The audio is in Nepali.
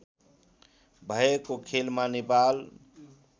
भएको खेलमा नेपाल